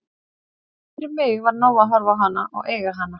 Fyrir mig var nóg að horfa á hana og eiga hana.